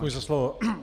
Děkuji za slovo.